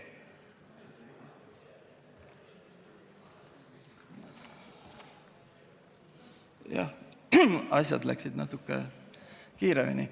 Jah, asjad läksid natukene kiiremini.